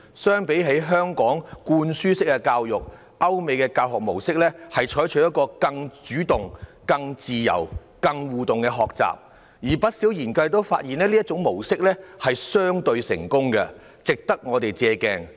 相比起香港的灌輸式教育，歐美教學模式採取更主動、更自由和更多互動的學習方式，而不少研究發現，這種模式相對成功，值得我們借鏡。